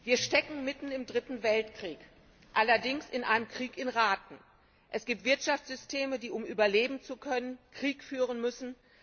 Frau Präsidentin! Wir stecken mitten im Dritten Weltkrieg. Allerdings in einem Krieg auf Raten. Es gibt Wirtschaftssysteme, die, um überleben zu können, Krieg führen müssen.